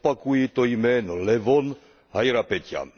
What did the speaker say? Opakuji to jméno, Levon Hajrapeťjan.